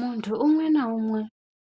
Munthu umwe naumwe